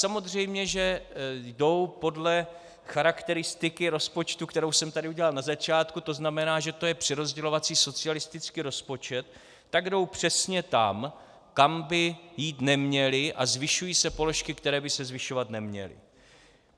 Samozřejmě že jdou podle charakteristiky rozpočtu, kterou jsem tady udělal na začátku, to znamená, že to je přerozdělovací socialistický rozpočet, tak jdou přesně tam, kam by jít neměly, a zvyšují se položky, které by se zvyšovat neměly.